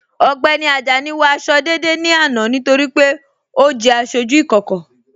Ọgbẹ́ni Ajani wọ àṣọ̀ dédé ní àná nítorí pé ọ jẹ́ àṣọjú ìkókò.